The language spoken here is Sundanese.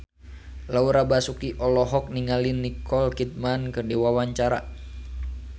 Laura Basuki olohok ningali Nicole Kidman keur diwawancara